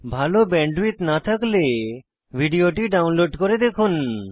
ভাল ব্যান্ডউইডথ না থাকলে ভিডিওটি ডাউনলোড করে দেখুন